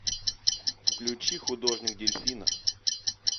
включи художник дельфина